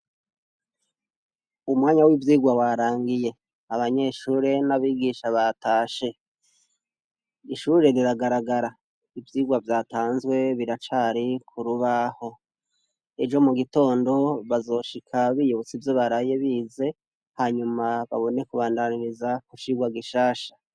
Umwanya w'ivyigwa warangiye, abanyeshure n'abigisha batashe, ishure riragaragara, ivyigwa vyatanzwe biracari ku rubaho, ejo mu gitondo bazoshika biyibutse ivyo baraye bize hanyuma babone kubandanyiriza ku cigwa gishasha.